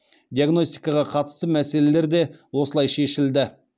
диагностикаға қатысты мәселелер де осылай шешілді